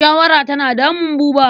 Shawara tana damun Buba.